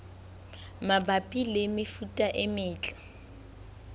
mabapi le mefuta e metle